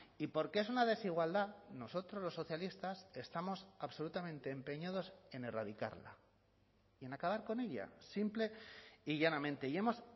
y porque es una desigualdad nosotros los socialistas estamos absolutamente empeñados en erradicarla y en acabar con ella simple y llanamente y hemos